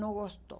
Não gostou.